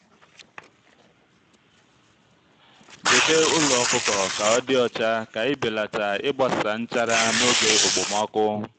debe ụlọ ọkụkọ ka ọ dị ọcha ka ibelata ịgbasa nchara n'oge okpomọkụ.